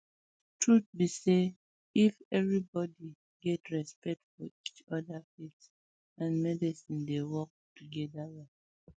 truth be say if everybody um get respect for each other faith um and medicine dey work together well